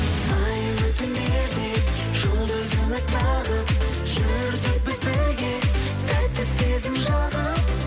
айлы түндерде жұлдыз үміт тағып жүрдік біз бірге тәтті сезім жағып